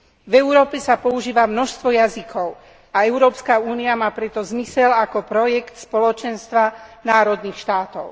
V Európe sa používa množstvo jazykov a Európska únia má preto zmysel ako projekt Spoločenstva národných štátov.